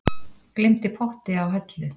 Gleymdi potti á hellu